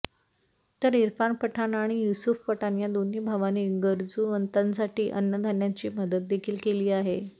तर इरफान पठाण आणि युसुफ पठाण या दोन्ही भावांनी गरजूवंतांसाठी अन्नधान्याची मदत देखील केली आहे